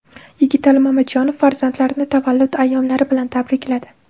Yigitali Mamajonov farzandlarini tavallud ayyomlari bilan tabrikladi.